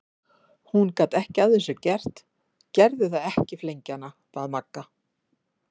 Hún gat ekki að þessu gert, gerðu það ekki flengja hana! bað Magga.